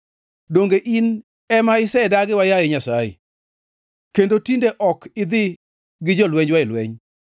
Donge in ema isedagiwa, yaye Nyasaye, kendo tinde ok idhi gi jolwenjwa e lweny?